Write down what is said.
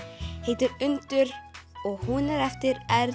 heitir undur og hún er eftir r